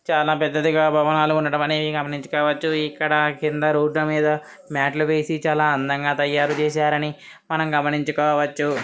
చానా పెద్దదిగా భవనాలు ఉండడం అనేది గమనించుకోవచ్చు . ఇక్కడ కింద రోడ్డు మీద మ్యాట్ లు వేసి చాలా అందంగా తాయారు చేసారని మనము గమనించుకోవచ్చు.